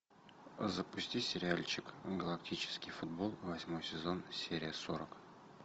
запусти сериальчик галактический футбол восьмой сезон серия сорок